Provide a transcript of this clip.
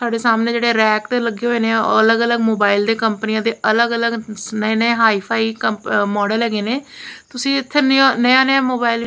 ਤੁਹਾਡੇ ਸਾਹਮਣੇ ਜਿਹੜੇ ਰੈਕ ਤੇ ਲੱਗੇ ਹੋਏ ਨੇ ਉਹ ਅਲੱਗ ਅਲੱਗ ਮੋਬਾਇਲ ਦੇ ਕੰਪਨੀਆਂ ਦੇ ਅਲੱਗ ਅਲੱਗ ਨਏ ਨਏ ਹਾਈ_ਫਾਈ ਮਾਡਲ ਹੈਗੇ ਨੇ ਤੁਸੀਂ ਇੱਥੇ ਨਿਆ ਨਿਆ ਮੋਬਾਈਲ --